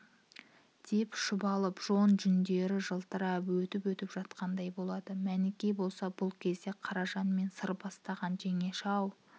деп шұбалып жон жүндері жылтырап өтіп-өтіп жатқандай болды мәніке болса бұл кезде қаражанмен сыр бастаған жеңеше-ау